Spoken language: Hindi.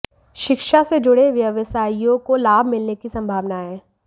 शिक्षा से जुड़े व्यवसायियों को लाभ मिलने की संभावना है